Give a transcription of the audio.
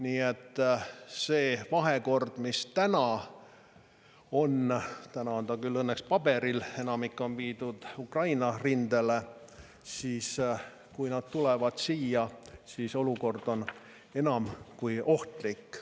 Nii et see vahekord, mis täna on – täna on ta küll õnneks paberil, enamik on viidud Ukraina rindele –, kui nad tulevad siia, siis olukord on enam kui ohtlik.